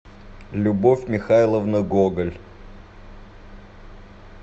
любовь михайловна гоголь